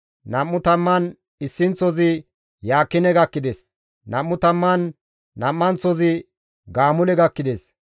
Nam7u tamman issinththozi Yaakine gakkides; nam7u tamman nam7anththozi Gaamule gakkides;